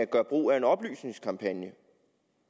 gøre brug af en oplysningskampagne